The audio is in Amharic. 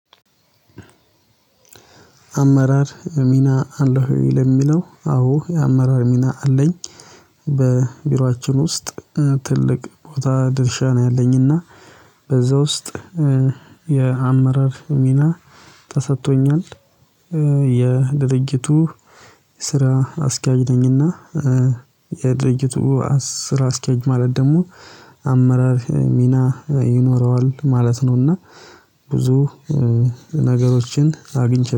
አመራር ሚና አለህ ወይ? ለሚለው አወ የአመራር ሚና አለኝ በቢሯችን ውስጥ ትልቅ ቦታ ድርሻ ነው ያለኝና በዛ ውስጥ የአመራር ሚና ተሰጥቶኛል። የድጅርቱ ስራ አስኪያጅ ነኝና። የድርጊቱ ስራ አስኪያጅ ማለት ደግሞ አመራር ሚና ይኖረዋል ማለት ነው። እና ብዙ ነገሮችን አግኝቼ